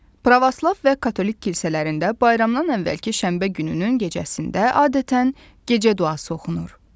Pravoslav və katolik kilsələrində bayramdan əvvəlki şənbə gününün gecəsində adətən gecə duası oxunur.